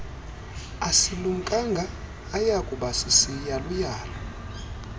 asilumkanga ayakuba sisiyaluyalu